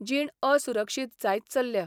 जीण असुरक्षीत जायत चल्ल्या.